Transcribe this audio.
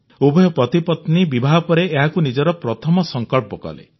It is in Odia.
ଉଭୟ ପତିପତ୍ନୀ ବିବାହ ପରେ ଏହାକୁ ନିଜର ପ୍ରଥମ ସଂକଳ୍ପ କଲେ